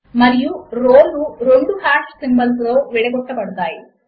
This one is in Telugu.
మరియు రో లు రెండు హాష్ సింబల్ లతో విడగొట్టబడతాయి